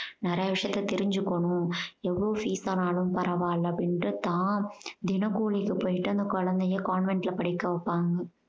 நிறைய விஷயத்த தெரிஞ்சுக்கணும் எவ்வளோ fees ஆனாலும் பறவால்ல அப்படீனுட்டு தான் தின கூலிக்கு போயிட்டு அந்த குழந்தைய convent ல படிக்க வப்பாங்க.